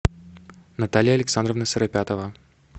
наталья александровна сыропятова